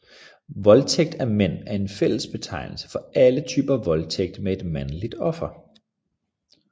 Voldtægt af mænd er en fællesbetegnelse for alle typer voldtægt med et mandligt offer